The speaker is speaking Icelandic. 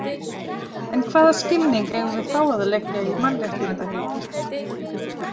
En hvaða skilning eigum við þá að leggja í mannréttindahugtakið?